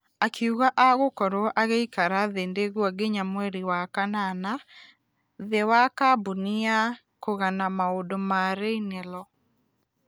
Akĩuga agokorwo agĩikara thindigua nginya mweri wa kanana thĩ wa kambũni ya kũgana maũndũ ya raynelo.